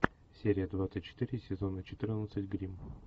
серия двадцать четыре сезона четырнадцать гримм